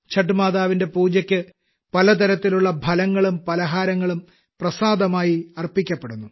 ഛഠ്മാതവിന്റെ പൂജയ്ക്ക് പലതരത്തിലുള്ള ഫലങ്ങളും പലഹാരങ്ങളും പ്രസാദമായി അർപ്പിക്കപ്പെടുന്നു